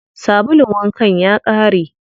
Sabulun wankan ya ƙare.